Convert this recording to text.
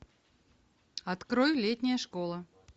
открой летняя школа